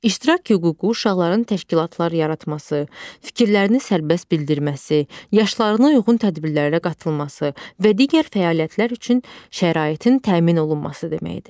İştirak hüququ uşaqların təşkilatlar yaratması, fikirlərini sərbəst bildirməsi, yaşlarına uyğun tədbirlərə qatılması və digər fəaliyyətlər üçün şəraitin təmin olunması deməkdir.